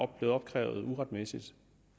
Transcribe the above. blevet opkrævet uretmæssigt